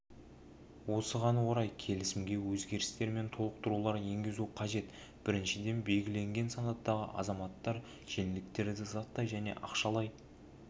осыған орай келісімге өзгерістер мен толықтырулар енгізу қажет біріншіден белгілеген санаттағы азаматтар жеңілдіктерді заттай және ақшалай